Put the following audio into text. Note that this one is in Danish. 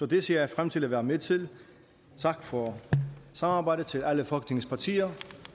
det ser jeg frem til at være med til tak for samarbejdet til alle folketingets partier